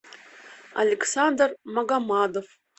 александр магомадов